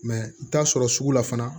Mɛ i bɛ t'a sɔrɔ sugu la fana